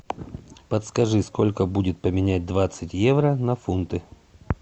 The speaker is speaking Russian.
подскажи сколько будет поменять двадцать евро на фунты